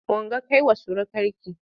Ungo kai wa surukarki!